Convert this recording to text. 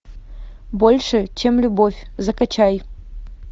больше чем любовь закачай